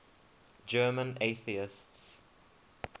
german atheists